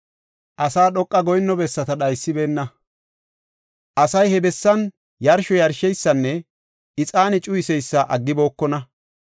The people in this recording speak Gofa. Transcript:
Asay dhoqa goyinno bessata dhaysibeenna; asay he bessan yarsho yarsheysanne ixaane cuyiseysa aggibokona.